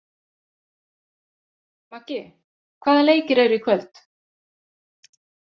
Maggi, hvaða leikir eru í kvöld?